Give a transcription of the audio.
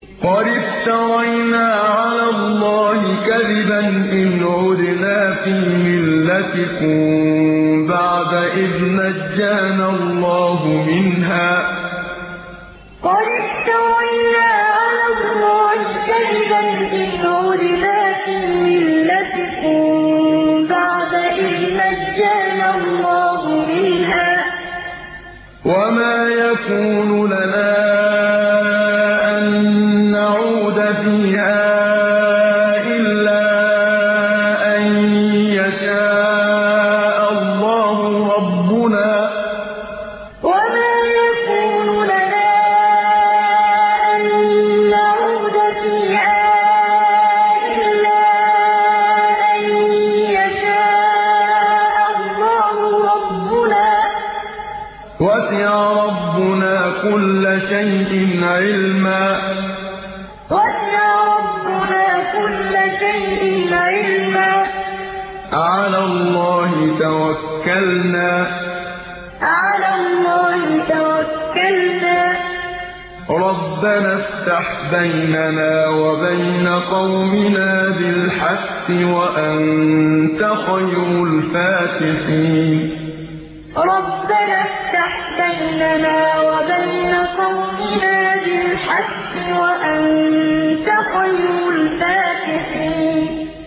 قَدِ افْتَرَيْنَا عَلَى اللَّهِ كَذِبًا إِنْ عُدْنَا فِي مِلَّتِكُم بَعْدَ إِذْ نَجَّانَا اللَّهُ مِنْهَا ۚ وَمَا يَكُونُ لَنَا أَن نَّعُودَ فِيهَا إِلَّا أَن يَشَاءَ اللَّهُ رَبُّنَا ۚ وَسِعَ رَبُّنَا كُلَّ شَيْءٍ عِلْمًا ۚ عَلَى اللَّهِ تَوَكَّلْنَا ۚ رَبَّنَا افْتَحْ بَيْنَنَا وَبَيْنَ قَوْمِنَا بِالْحَقِّ وَأَنتَ خَيْرُ الْفَاتِحِينَ قَدِ افْتَرَيْنَا عَلَى اللَّهِ كَذِبًا إِنْ عُدْنَا فِي مِلَّتِكُم بَعْدَ إِذْ نَجَّانَا اللَّهُ مِنْهَا ۚ وَمَا يَكُونُ لَنَا أَن نَّعُودَ فِيهَا إِلَّا أَن يَشَاءَ اللَّهُ رَبُّنَا ۚ وَسِعَ رَبُّنَا كُلَّ شَيْءٍ عِلْمًا ۚ عَلَى اللَّهِ تَوَكَّلْنَا ۚ رَبَّنَا افْتَحْ بَيْنَنَا وَبَيْنَ قَوْمِنَا بِالْحَقِّ وَأَنتَ خَيْرُ الْفَاتِحِينَ